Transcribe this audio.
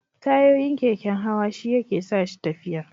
Tayoyin keken hawa shi yake sa shi tafiya